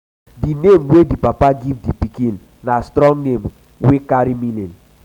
di name wey di papa give di pikin na strong name wey carry meaning.